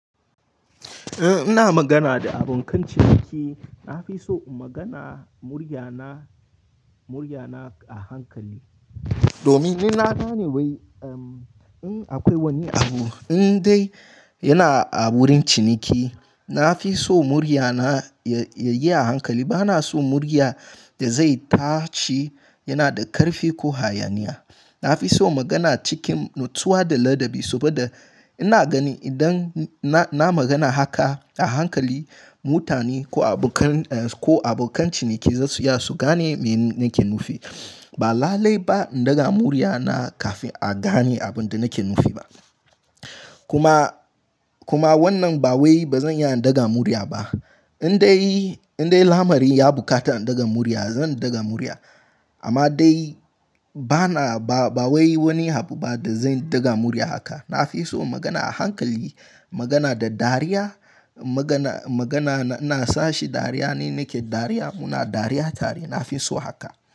Eh, ina magana da abokan ciniki. Na fi so in magana murya na, murya na a hankali. Domin inna gane wai, in akwai wani abu in dai yana a wurin ciniki, na fi so murya na ya, ya yi a hankali. Ba na so murya da zai tace yana da ƙarfi ko hayaniya. Na fi so magana cikin natsuwa da ladabi saboda ina gani idan na, na magana haka a hankali, mutane ko abokan, ko abokan ciniki za su iya su gane me nake nufi. Ba lallai ba in daga murya na kafin a gane abin da nake nufi ba. Kuma, kuma wannan ba wai ba zan iya in daga murya ba. In dai, in dai lamari ya buƙata in daga murya, zan daga murya. Amma dai, ba na ba, ba wai wani abu ba da zan daga murya haka. Na fi so magana a hankali, magana da dariya, magana ina sashi dariya ne nake dariya, muna dariya tare. Na fi so haka.